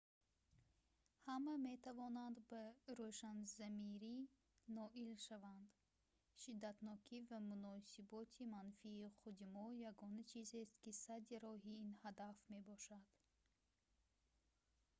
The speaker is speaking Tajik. ҳама метавонанд ба рӯшанзамирӣ ноил шаванд шиддатнокӣ ва муносиботи манфии худи мо ягона чизест ки садди роҳи ин ҳадаф мешавад